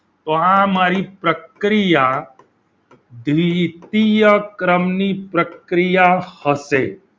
તો આ મારી પ્રક્રિયા દ્વિતીય ક્રમની પ્રક્રિયા હશે.